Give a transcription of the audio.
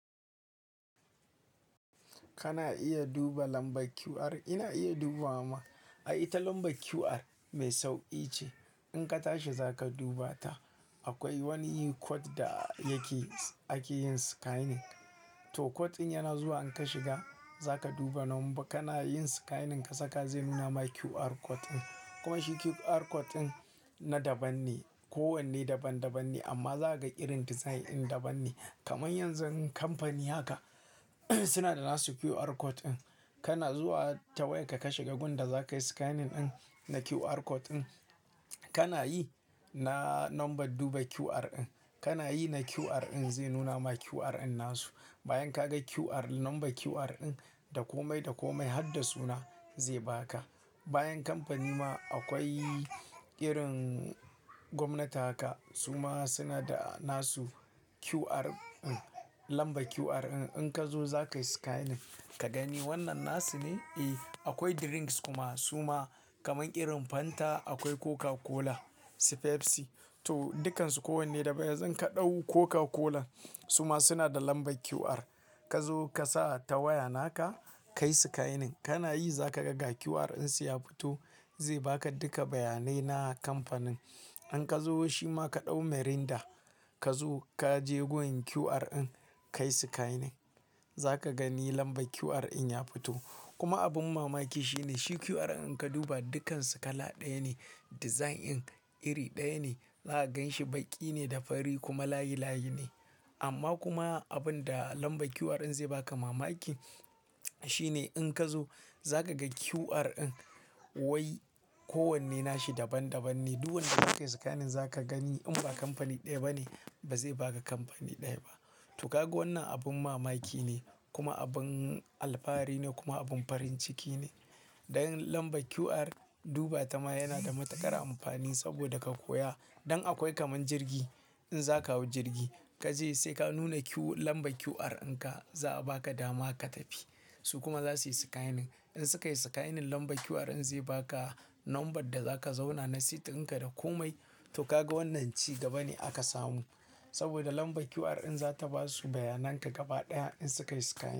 Kana iya duba lambar QR, ina iya duba ma. Ai, ita lambar QR mai sauƙi ce. In ka tashi za ka duba ta. Akwai wani kod da yake, ake yin scanning. To, kod ɗin yana zuwa in ka shiga, za ka duba nomba, kana yin scanning ka saka zai nuna ma QR kod ɗin. Kuma shi QR kod ɗin, na daban ne, kowanne daban-daban ne amma za ka ƙirar design ɗin daban ne. Kaman yanzu kamfani haka suna da nasu QR kod ɗin. Kana zuwa ta wayar ka, ka shiga gon da za ka yi scanning ɗin, na QR kod ɗin. Kana yi na nomba duba QR ɗin. Kana yi na QR ɗin zai nuna ma QR ɗin nasu. Bayan ka ga QR, nomba QR ɗin, da komai da komai har da suna zai ba ka. Bayan kamfani ma, akwai ƙirin gwamnati haka. Su ma suna da nasu QR ɗin, lamba QR ɗin. In ka zo za ka yi scanning ka gani wannan nasu ne? Eh, akwai drinks kuma su ma kaman ƙirin Fanta, akwai Coca-Cola, Pepsi. To, dukansu kowanne daban. Yanzu ka ɗau Coca-Cola suma suna da lamba QR. Ka zo ka sa ta waya naka, ka yi scanning. Kana yi za ka ga ga QR ɗinsu ya fito, zai ba ka duka bayanai na kamfanin. In ka zo shi ma ka ɗau Mirinda, ka zo ka je gurin QR ɗin ka yi scanning. Za ka gani lamba QR ɗin ya fito. Kuma abin mamaki shi ne, shi QR ɗin ka duba dukansu kala ɗaya ne, design ɗin iri ɗaya ne. Za ka ganshi baƙi ne da fari, kuma layi layi ne. Amma kuma abin da lamba QR ɗin zai ba ka mamaki shi ne in ka zo za ka ga QR ɗin wai kowanne nashi daban daban ne. Duk wanda za ka yi scanning za ka gani in ba kamfani ɗaya ba ne, ba zai ba ka kamfani ɗaya ba. To, ka ga wannan abin mamaki ne kuma abin alfahari ne kuma abun farin ciki ne. Don lamba QR, duba ta ma yana da matuƙar amfani saboda ka koya. Don akwai kaman jirgi, in za ka hau jirgi ka je sai ka nuna QR, lamba QR in ka za'a ba ka dama ka tafi. Su kuma za su yi scanning. In suka yi scanning lamba QR ɗin zai ba ka nomban da za ka zauna na seat ɗin ka da komai. To, ka ga wannan ci gaba ne aka samu. Saboda lamban QR ɗin za ta basu bayanan ka gaba ɗaya in suka yi scanning.